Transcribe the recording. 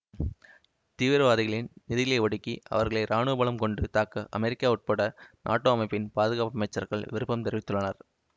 தீவிரவாதிகளின் நிதிகளை ஒடுக்கி அவர்களை ராணுவபலம் கொண்டு தாக்க அமெரிக்கா உட்பட நாட்டோ அமைப்பின் பாதுகாப்பு அமைச்சர்கள் விருப்பம் தெரிவித்துள்ளனர்